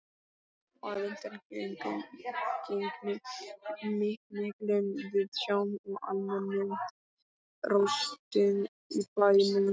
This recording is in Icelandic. Að undangengnum miklum viðsjám og almennum róstum í bænum var